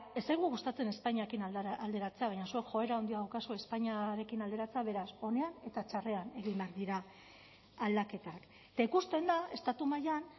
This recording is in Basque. ez zaigu gustatzen espainiarekin alderatzea baina zuek joera handia daukazue espainiarekin alderatzen beraz onean eta txarrean egin behar dira aldaketak eta ikusten da estatu mailan